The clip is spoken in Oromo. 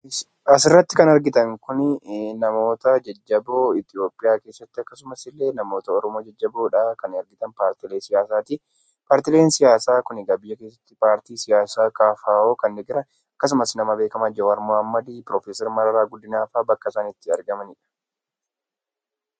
Asirratti kan argitan Kun namoota jajjaboo Itoophiyaa keessatti akkasuma illee namoota Oromoo jajjaboo kan argitan paartiilee siyaasaati. Paartiileen siyaasaa Kun paartii biyya keessa paartii siyaasaa KFO akkasumas nama beekamaa Jawaar Mohaammad, Piroofeesar Mararaa guddinaa fa'aa bakka isaan itti argamanidha.